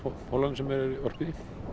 holunum sem er orpið í